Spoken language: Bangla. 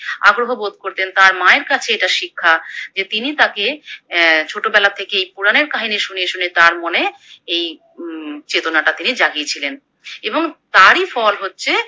আগ্রহ বোধ করতেন, তার মায়ের কাছে এটা শিক্ষা যে তিনি তাকে অ্যা ছোটবেলা থেকেই পুরাণের কাহিনী শুনিয়ে শুনিয়ে তার মনে এই উমম চেতনাটা তিনি জাগিয়ে ছিলেন, এবং তারই ফল হচ্ছে